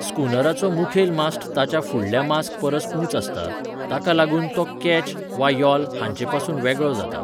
स्कूनराचो मुखेल मास्ट ताच्या फुडल्या मास्ट परस उंच आसता, ताका लागून तो केच वा यॉल हांचे पसून वेगळो जाता.